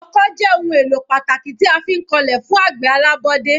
Ọkọ́ jẹ́ ohun èlò pàtàkì tí a fi ń kọlẹ̀ fún àgbẹ̀ alábọ́dé.